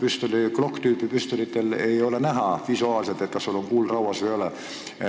Näiteks ei ole Glock-tüüpi püstolitel näha, kas kuul on rauas või ei ole.